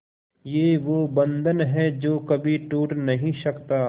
ये वो बंधन है जो कभी टूट नही सकता